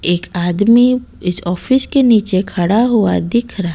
एक आदमी इस ऑफिस के नीचे खड़ा हुआ दिख रहा--